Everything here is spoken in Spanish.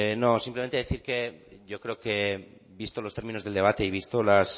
no solamente decir que yo creo que visto los términos del debate y visto las